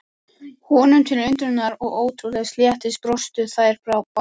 Honum til undrunar og ótrúlegs léttis brostu þær báðar.